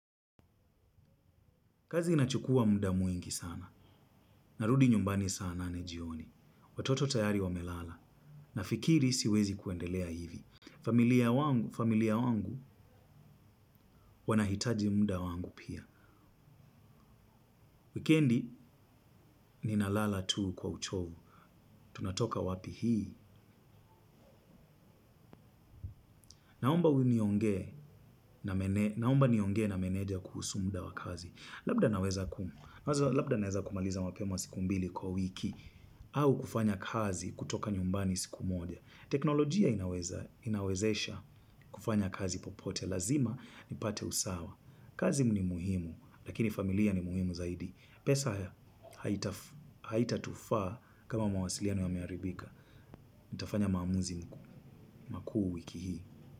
Kazi inachukua muda mwingi sana. Narudi nyumbani saa nane jioni. Watoto tayari wamelala. Nafikiri siwezi kuendelea hivi. Familia wangu wanahitaji muda wangu pia. Wikendi ninalala tu kwa uchovu. Tunatoka wapi hii. Naomba niongee na meneja kuhusu muda wa kazi. Labda naweza kumaliza mapema siku mbili kwa wiki. Au kufanya kazi kutoka nyumbani siku moja. Teknolojia inawezesha kufanya kazi popote lazima nipate usawa. Kazi ni muhimu, lakini familia ni muhimu zaidi. Pesa haitatufaa kama mawasiliano yameharibika. Nitafanya maamuzi makuu wiki hii.